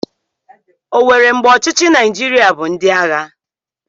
O nwere mgbe ọchịchị Naijiria bụ ndị agha?